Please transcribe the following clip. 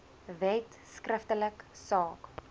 wet skriftelik saak